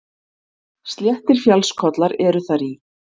Sléttir fjallskollar eru þar í